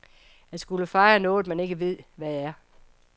At skulle fejre noget man ikke ved, hvad er.